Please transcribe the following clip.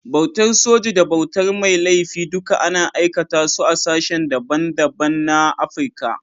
Bautar soji da bautar mai laifi duka ana aikata su a sashen da ban da ban na Afrika.